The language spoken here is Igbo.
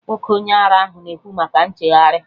Nwoke onye ara ahụ na-ekwu maka nchegharị